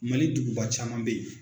Mali duguba caman bɛ ye.